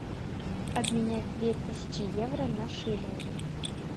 обменять две тысячи евро на шиллинги